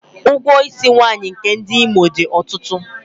Ụgwọ isi nwaanyị nke ndị Imo dị ọtụtụ.